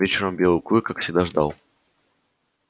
вечером белый клык как всегда ждал